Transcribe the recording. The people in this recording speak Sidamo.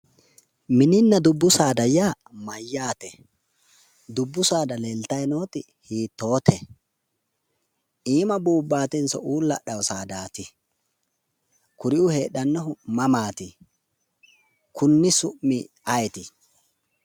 mininna dubbu saada ya mayyaate? dubbu saada leeltayi nooti hiittote iima buubbaatenso uulla hadhaate saadaati kuriuu heedhanohu mamaati konni summi ayeeti?